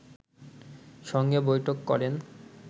সঙ্গে বৈঠক করেন